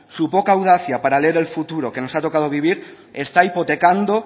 su poca audacia para leer el futuro que nos ha tocada vivir está hipotecando